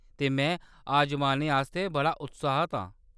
ते में अजमाने आस्तै बड़ा उत्साह्त आं।